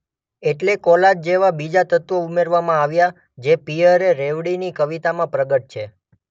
એટલે કોલાજ જેવા બીજા તત્વો ઉમેરવામાં આવ્યા જે પિયરે રેવર્ડીની કવિતામાં પ્રગટે છે.